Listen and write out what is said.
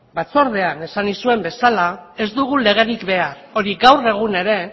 batzordean esan nizuen bezala ez dugu legerik behar hori gaur egun ere